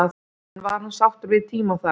En var hann sáttur við tímann þar?